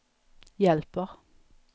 hjälper